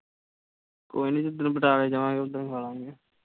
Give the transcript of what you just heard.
ਕੋਈ ਨੀ ਜਿੱਦਣ ਪਟਿਆਲੇ ਜਾਵਾਂਗੇ ਓਦਣ ਖਾ ਲਵਾਂਗੇ।